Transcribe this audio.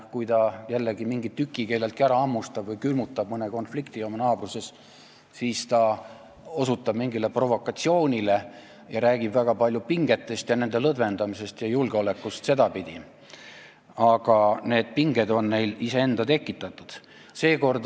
Kui ta jällegi mingi tüki kelleltki ära hammustab või külmutab mõne konflikti oma naabruses, siis ta osutab mingile provokatsioonile ja räägib väga palju pingetest, nende lõdvendamisest ja julgeolekust sedapidi, aga need pinged on neil iseenda tekitatud.